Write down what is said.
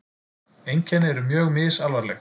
Einkenni eru mjög misalvarleg.